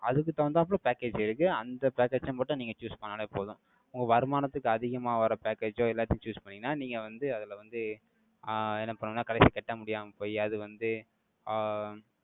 அதுக்கு தகுந்தாப்ல package இருக்கு. அந்த package அ மட்டும் நீங்க choose பண்ணாலே போதும். உங்க வருமானத்துக்கு அதிகமா வர package ஓ, எல்லாத்தையும் choose பண்ணீங்கன்னா, நீங்க வந்து, அதுல வந்து, ஆஹ் என்ன பண்ணணும்ன்னா, கடைசி கட்ட முடியாம போயி, அது வந்து, ஆஹ்